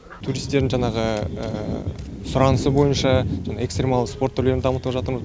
туристердің жаңағы сұранысы бойынша экстремалды спорт түрлерін дамытып жатырмыз